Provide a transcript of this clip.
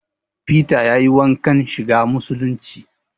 Fita yayi wankan shiga musulunci